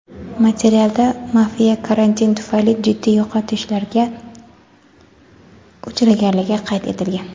Materialda mafiya karantin tufayli jiddiy yo‘qotishlarga uchraganligi qayd etilgan.